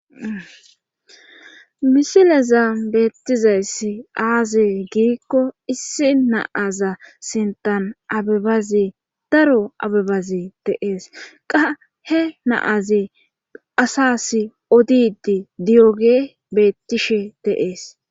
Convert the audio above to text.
Misileza beettizayssi aaze giikko issi naaza sentan abebazi daro abebazi deees qa he naazi asas odidi diyoge beettishe deees.